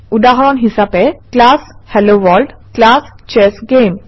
উদাহৰণ হিচাপে class hello world class chess game